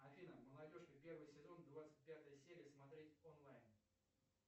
афина молодежка первый сезон двадцать пятая серия смотреть онлайн